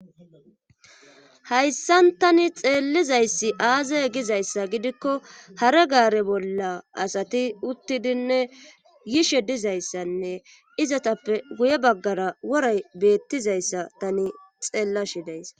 Hayssan tani xeellizayssi aaze gizayssa gidikko hare gaare bolla asati uttidinne yishe dizayssanne izatappe guye baggara woray beettizayssa tani xeellashe days.